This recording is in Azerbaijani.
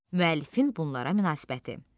Müəllifin bunlara münasibəti.